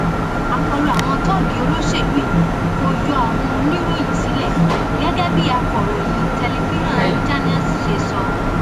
àkọlù àwọn tóógì olóṣèlú yìí kò yọ àwọn oníròyìn sílẹ gẹgẹ bí akọròyìn tẹlifiran channels ṣe sọ